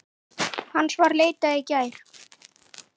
Hans var leitað í gær.